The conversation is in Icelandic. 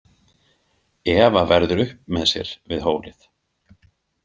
Eva verður upp með sér við hólið.